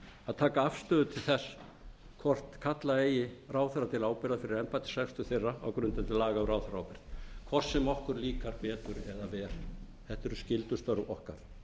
að taka afstöðu til þess hvort kalla eigi ráðherra til ábyrgðar fyrir embættisrekstur þeirra á grundvelli laga um ráðherraábyrgð hvort sem okkur líkar betur eða verr þetta eru skyldustörf okkar